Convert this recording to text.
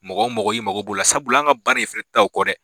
Mɔgɔ mɔgɔ y'i mago bolo la sabula an ka baara in fɛnɛ tɛ ta o kɔ dɛ.